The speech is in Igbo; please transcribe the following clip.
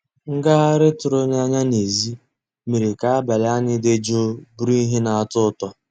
Ngàghàrị́ tụ̀rụ̀ n'ànyá n'èzí mérè ká àbàlí ànyị́ dị́ jụ́ụ́ bụ́rụ́ íhé ná-àtọ́ ụtọ́.